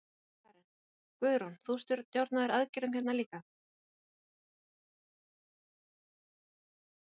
Karen: Guðrún, þú stjórnaðir aðgerðum hérna líka?